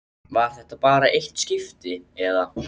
Var þetta bara eitt skipti, eða.